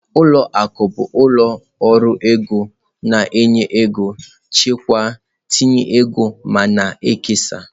Ụlọ akụ bụ ụlọ ọrụ ego na-enye ego, chekwaa, tinye ego ma na-ekesa.